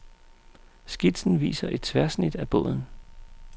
Skitsen viser et tværsnit af båden.